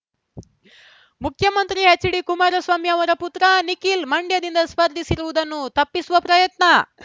ಮುಖ್ಯಮಂತ್ರಿ ಎಚ್‌ಡಿ ಕುಮಾರಸ್ವಾಮಿ ಅವರ ಪುತ್ರ ನಿಖಿಲ್‌ ಮಂಡ್ಯದಿಂದ ಸ್ಪರ್ಧಿಸಿರುವುದನ್ನು ತಪ್ಪಿಸುವ ಪ್ರಯತ್ನ